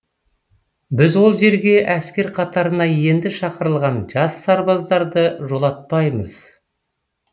біз ол жерге әскер қатарына енді шақырылған жас сарбаздарды жолатпаймыз